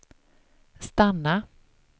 stanna